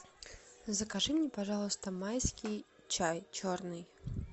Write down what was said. закажи мне пожалуйста майский чай черный